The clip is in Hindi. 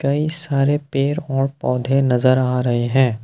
कई सारे पेड़ और पौधे नजर आ रहे हैं।